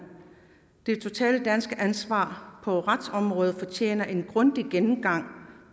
det totale danske ansvar på retsområdet fortjener en grundig gennemgang